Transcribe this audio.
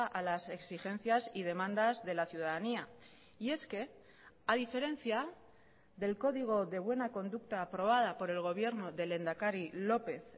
a las exigencias y demandas de la ciudadanía y es que a diferencia del código de buena conducta aprobada por el gobierno del lehendakari lópez